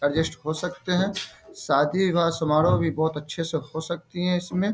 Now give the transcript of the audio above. Adjust हो सकतें हैं। शादी विवाह समारोह भी बहुत अच्छे से हो सकती है इसमें।